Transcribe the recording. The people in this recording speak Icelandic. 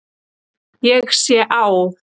Ég sé á